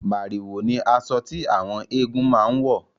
Màrìwò ni asọ tí àwọn eégún máa ń wọ̀